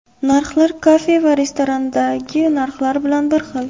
Narxlar kafe va restoranlardagi narxlar bilan bir xil.